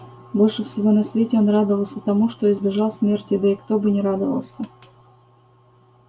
больше всего на свете он радовался тому что избежал смерти да и кто бы не радовался